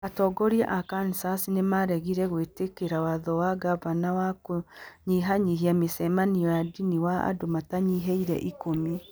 Atongoria a Kansas nĩ maaregire gwĩtĩkĩra watho wa gavana wa kũnyihanyihia mĩcemanio ya ndini wa andũ matanyihiire ikũmi.